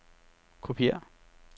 kopiér